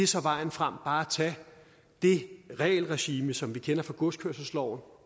så vejen frem bare at tage det regelregime som vi kender fra godskørselsloven